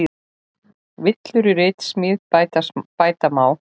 Villur í ritsmíð bæta má.